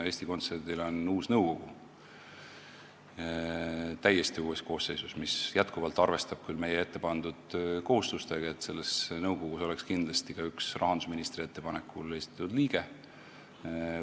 Eesti Kontserdil on uus nõukogu täiesti uue koosseisuga, mis jätkuvalt arvestab küll meie ette pandud kohustusega, et selles nõukogus oleks kindlasti ka üks rahandusministri ettepanekul esitatud liige.